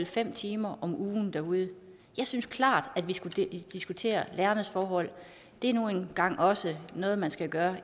fem timer om ugen derude jeg synes klart at vi skulle diskutere lærernes forhold det er nu engang også noget man skal gøre